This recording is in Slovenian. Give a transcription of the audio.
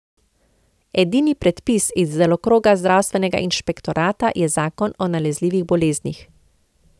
Edini predpis iz delokroga zdravstvenega inšpektorata je zakon o nalezljivih boleznih.